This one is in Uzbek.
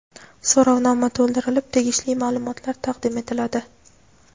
So‘rovnoma to‘ldirilib, tegishli maʼlumotlar taqdim etiladi.